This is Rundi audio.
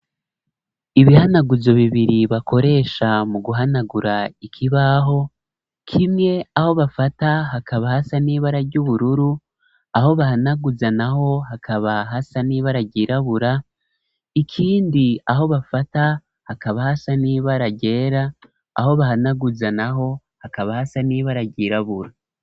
Ibihanaguzo bibiri bakoresha mu guhanagura ikibaho. Kimwe aho bafata hakaba hasa n'ibara ry'ubururu aho bahanaguza naho hakaba hasa n'ibara ryirabura ikindi aho bafata hakaba hasa niba aragera aho bahanaguza naho hakaba hasa n'iba ara ryirabura.